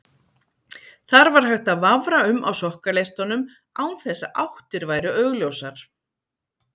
Þar var hægt að vafra um á sokkaleistunum án þess að áttir væru augljósar.